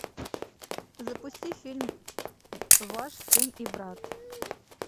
запусти фильм ваш сын и брат